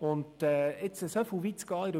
In der Überwachung so weit zu gehen,